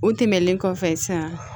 O tɛmɛnen kɔfɛ sisan